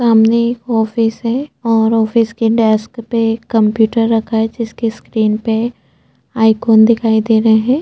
सामने एक ऑफिस है और ऑफिस के डेस्क पे एक कंप्युटर रखा है जिसके स्क्रीन पे आइकोन दिखाई दे रहै है।